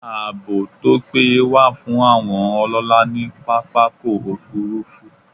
Ààbò tó péye wà fún àwọn ọlọ́lá ní pápákọ̀ -òfurufú